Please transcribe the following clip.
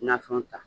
Nafɛnw ta